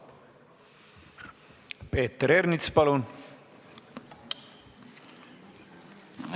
Peeter Ernits, palun!